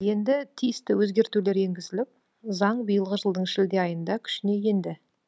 енді тиісті өзгертулер енгізіліп заң биылғы жылдың шілде айында күшіне енді